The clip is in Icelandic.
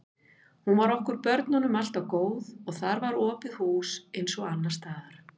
Hún var okkur börnunum alltaf góð og þar var opið hús eins og annars staðar.